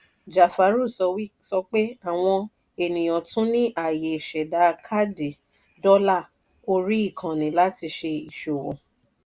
jafaru sọ pé àwọn ènìyàn tún ní àyè ṣẹ̀dà káàdì dọ́là orí ìkànnì láti ṣe ìṣòwò.